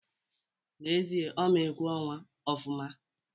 N'ezie, Ọ ma egwu ọnwa ofụma